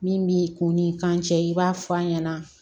Min b'i kun ni kan cɛ i b'a f'a ɲɛna